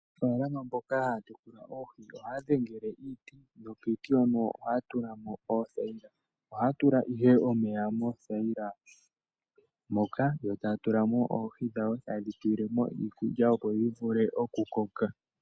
Aanafaalama mboka haya tekula oohi ohaya dhengele iiti nokiiti hono ohaya tulako oothayila, ohaya tula ihe omeya moothayila moka yotaya tulamo oohi dhawo, tayedhi tulilemo iikulya opo dhivule okukoka.